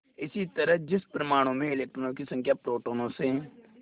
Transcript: इसी तरह जिस परमाणु में इलेक्ट्रॉनों की संख्या प्रोटोनों से